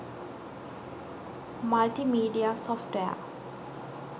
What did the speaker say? multimedia software